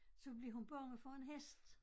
Så blev hun bange for en hest